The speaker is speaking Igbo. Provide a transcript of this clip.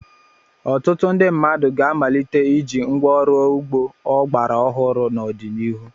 Ọtụtụ ndị mmadụ ga-amalite iji ngwa ọrụ ugbo ọgbara ọhụrụ n'ọdịnihu.